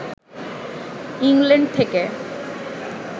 England থেকে